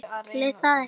Það hefur breyst.